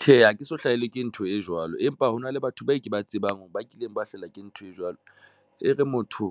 Tjhe, ha ke so hlahelwa ke ntho e jwalo. Empa hona le batho bao ke ba tsebang ba kileng ba hlahelwa ke ntho e jwalo. Ere motho